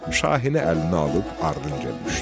Muşahini əlinə alıb ardına düşdü.